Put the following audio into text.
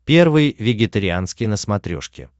первый вегетарианский на смотрешке